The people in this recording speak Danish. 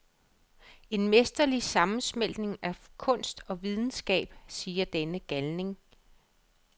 En mesterlig sammensmeltning af kunst og videnskab, siger denne galning.